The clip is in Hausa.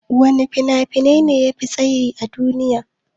Wana fina-finai ne yafi tsayi a duniya?